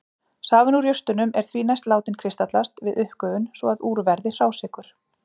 Safinn úr jurtunum er því næst látinn kristallast við uppgufun svo að úr verði hrásykur.